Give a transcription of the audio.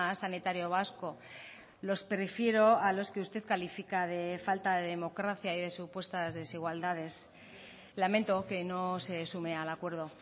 sanitario vasco los prefiero a los que usted califica de falta de democracia y de supuestas desigualdades lamento que no se sume al acuerdo